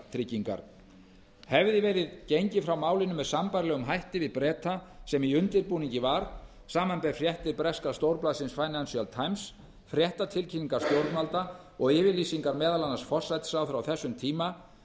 tryggingar hefði verið gengið frá málinu með sambærilegum hætti við breta sem í undirbúningi var samanber fréttir breska stórblaðsins the times fréttatilkynningar stjórnvalda og yfirlýsingar meðal annars forsætisráðherra á þessum tíma